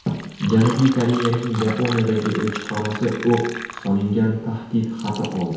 Janubiy Koreyaning Yaponiyadagi elchixonasi o‘q solingan tahdid xati oldi.